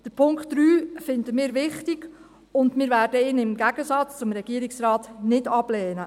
Den Punkt 3 finden wir wichtig, und wir werden ihn im Gegensatz zum Regierungsrat nicht ablehnen.